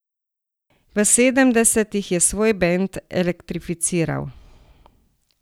V sedemdesetih je svoj bend elektrificiral.